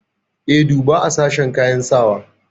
E, duba a sashen kayan sakawa.